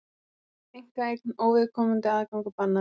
Einkaeign, óviðkomandi aðgangur bannaður